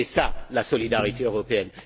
c'est cela la solidarité européenne.